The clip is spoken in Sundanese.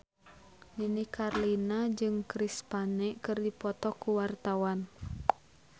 Nini Carlina jeung Chris Pane keur dipoto ku wartawan